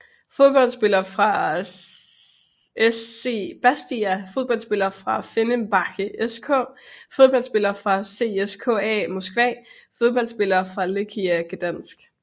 Fodboldspillere fra SC Bastia Fodboldspillere fra Fenerbahçe SK Fodboldspillere fra CSKA Moskva Fodboldspillere fra Lechia Gdańsk